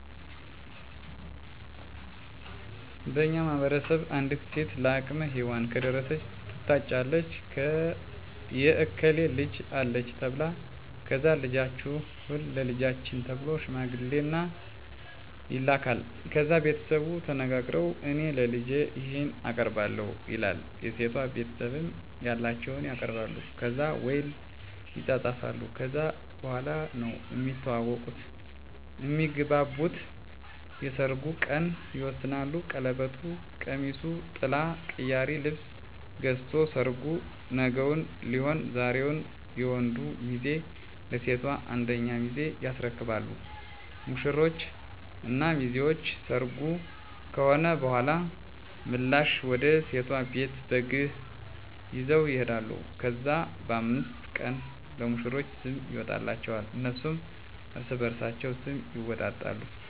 በእኛ ማህበረሰብ አንዲት ሴት ለአቅመ ሄዋን ከደረሰች ትታጫለች የእከሌ ልጅ አለች ተብላ ከዛ ልጃችሁን ለልጃችን ተብሎ ሽምግልና ይላካል። ከዛ ቤተሰቡ ተነጋግረዉ እኔ ለልጄ ይሄን አቀርባለሁ ይላል የሴቷ ቤተሰብም ያላቸዉን ያቀርባሉ። ከዛ ዉል ይፃፃፋሉ ከዛ በኋላ ነዉ እሚተዋወቁት (እሚግባቡት) የሰርጉ ቀን ይወሰናል ቀለበቱ፣ ቀሚሱ፣ ጥላ፣ ቅያሪ ልብስ ገዝቶ ሰርጉ ነገዉን ሊሆን ዛሬዉን የወንዱ ሚዜ ለሴቷ አንደኛ ሚዜ ያስረክባሉ። ሙሽሮች እና ሚዜዎች ሰርጉ ከሆነ በኋላ ምላሽ ወደ ሴቷ ቤት በግ ይዘዉ ይሄዳሉ። ከዛ በ5 ቀኑ ለሙሽሮች ስም ይወጣላቸዋል እነሱም እርስበርሳቸዉ ስም ይወጣጣሉ።